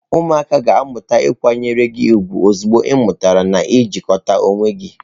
Ụmụaka ga-amalite ịkwanyere gị ugwu ozugbo ị mụtara n ị jikota onwe gị.